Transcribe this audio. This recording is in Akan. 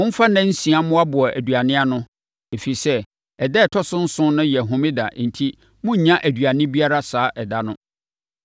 Momfa nna nsia mmoaboa aduane ano, ɛfiri sɛ, ɛda a ɛtɔ so nson no yɛ homeda enti morennya aduane biara saa ɛda no.”